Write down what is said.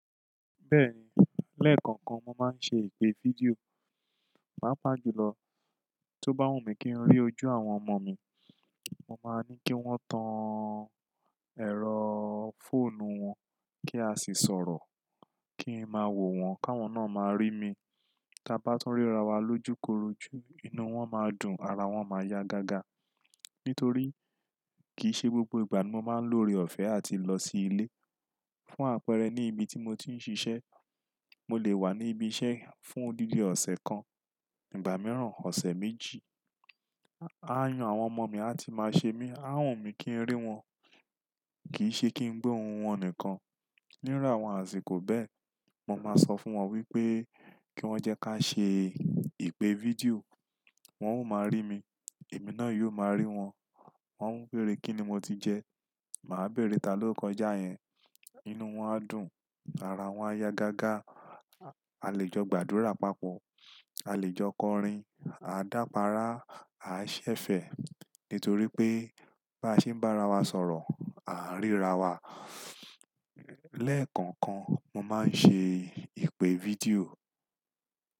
Bẹ́ẹ̀ni, lẹ́ẹ̀kọ̀ọ̀kan mo máa ń ṣe ìpè fídíò. Pàápàá jùlọ, tó bá wù mí kí n rí ojú àwọn ọmọ mi, mo máa ní kí wọ́n tan ẹ̀rọ fóònù wọn kí a sì sọ̀rọ̀. Kí n máa wò wọ́n, káwọn náà máa rí mi. Tí a bá tún ríra wa lójúkorojú, inú wọn máa dùn, ara wọ́n máa ya gágá. Nítorí kì í ṣe gbogbo ìgbà ni mo máa ń lọ́ore ọ̀fẹ́ àti lọ sí ilé. Fún àpẹẹrẹ ní ibi tí mo ti ń ṣiṣẹ́, mo lè wà ní ibi iṣẹ́ fún dídi ọ̀sẹ̀ kan, ìgbà mìíràn ọ̀sẹ̀ méjì. Aáyán àwọn ọmọ mi a ti máa ṣe mí, á wùn mí kí n rí wọn. Kì í ṣe kí n gbo ohun wọn nìkan. Níru àwọn àṣìkò bẹ́ẹ̀, mo máa sọ fún wọn wípé kí wọ́n jẹ́ ká ṣe ìpè fídíò, wọ́n ó máa rí mi, èmi náà yóò máa rí wọn. Wọn ń béèrè kíni mo ti jẹ, màá béèrè ta ló kọjá yẹn. Inú wọn á dùn, ara wọ́n á ya gágá, a lè jọ gbàdúrà papọ̀, a lè jọ kọrin, á dàpàrá, á ṣẹ̀fẹ̀. Nítorí pé bá se ń bá ara wa sọ̀rọ̀, à ń ríra wa. Lẹ́ẹ̀kọ̀ọ̀kan mo máa ń ṣe ìpè fídíò.